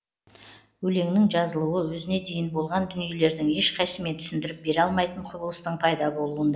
өлеңнің жазылуы өзіне дейін болған дүниелердің ешқайсысымен түсіндіріп бере алмайтын құбылыстың пайда болуында